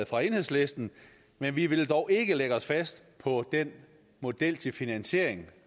fra enhedslisten men vi vil dog ikke lægge os fast på den model til finansiering